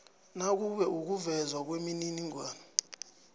nakube ukuvezwa kwemininingwana